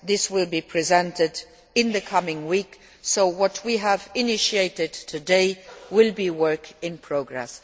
This will be presented in the coming week, so what we have initiated today will be work in progress.